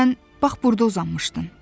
Sən bax burda uzanmışdın.